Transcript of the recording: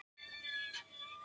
Þau væru eins og lík.